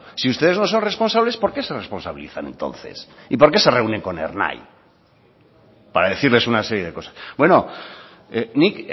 si ustedes no sois responsables por qué se responsabilizan entonces y por qué se reúnen con ernai para decirles una serie de cosas bueno nik